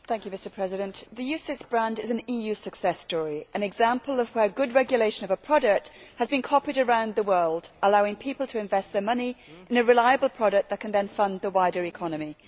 Mr President, the UCITS brand is an EU success story, an example of where good regulation of a product has been copied around the world, allowing people to invest their money in a reliable product that can then fund the wider economy.